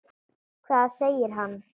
Hvað segir hann?